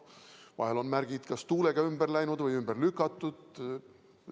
Vahel on märgid kas tuulega ümber läinud või ümber lükatud.